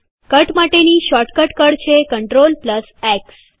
cut માટેની shortcut કળ છે Ctrl એક્સ